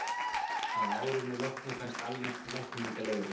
að árinu loknu fæst almennt lækningaleyfi